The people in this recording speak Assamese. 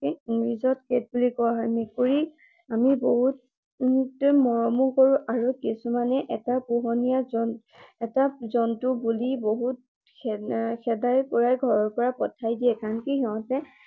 English ত cat বুলি কোৱা হয়। মেকুৰী আমি বহুত মৰমো কৰো আৰু কিছুমানে এটা পোহনীয়া জন্তু এটা জন্তু বুলি বহুতে খেদাই ঘৰৰ পৰা পঠিয়াই দিয়ে। আনকি সিহতে